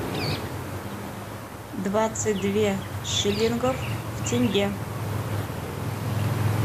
двадцать две шиллингов в тенге